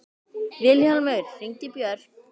Vilhjálmur, hringdu í Börk.